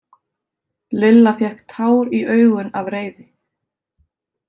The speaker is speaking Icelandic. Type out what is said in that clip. Lilla fékk tár í augun af reiði.